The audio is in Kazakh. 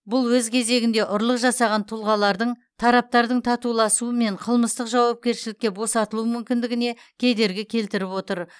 бұл өз кезегінде ұрлық жасаған тұлғалардың тараптардың татуласуымен қылмыстық жауапкершіліктен босатылу мүмкіндігіне кедергі келтіріп отыр